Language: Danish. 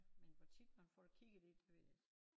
Men hvor tit man får det kigget i det det ved jeg ikke